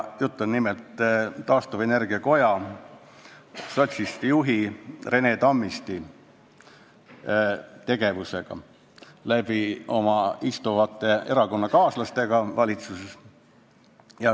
Jutt on nimelt taastuvenergia koja sotsist juhi Rene Tammisti tegevusest ja tema valitsuses olevatest erakonnakaaslastest.